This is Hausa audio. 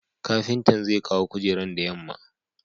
kapintan zekawo kujeran da yamma